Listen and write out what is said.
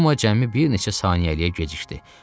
Numa cəmi bir neçə saniyəliyə gecikdi.